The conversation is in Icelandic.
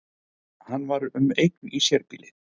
Hann var um eign í sérbýli